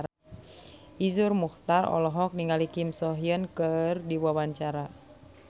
Iszur Muchtar olohok ningali Kim So Hyun keur diwawancara